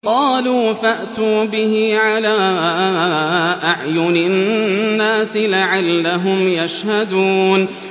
قَالُوا فَأْتُوا بِهِ عَلَىٰ أَعْيُنِ النَّاسِ لَعَلَّهُمْ يَشْهَدُونَ